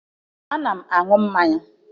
Ana m aṅụ mmanya